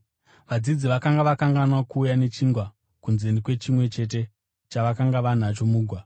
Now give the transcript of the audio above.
Vadzidzi vakanga vakanganwa kuuya nechingwa, kunze kwechimwe chete chavakanga vanacho mugwa.